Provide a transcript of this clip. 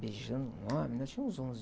Beijando um homem, nós tínhamos uns onze...